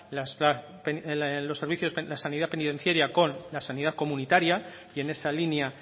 la sanidad penitenciaria con la sanidad comunitaria y en esa línea